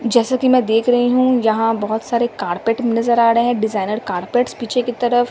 जैसा कि मैं देख रही हूं यहां बहुत सारे कारपेट नजर आ रहे हैं डिजाइनर कारपेट्स पीछे की तरफ।